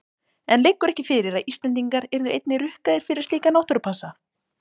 En liggur ekki fyrir að Íslendingar yrðu einnig rukkaðir fyrir slíka náttúrupassa?